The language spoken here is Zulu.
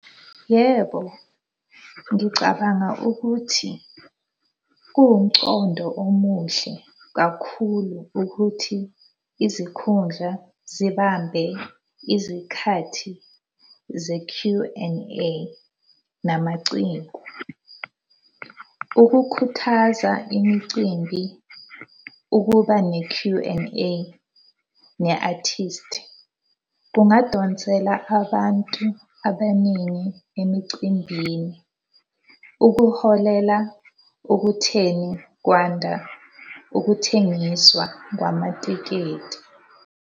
Yebo. Ngicabanga ukuthi kuwumcondo omuhle kakhulu ukuthi izikhundla zibambe izikhathi ze-Q and A namaciko. Ukukhuthaza imicimbi, ukuba ne-Q and A ne artist, kungadonsela abantu abaningi emicimbini. Ukuholela ukutheni kwanda ukuthengiswa kwamatikiti.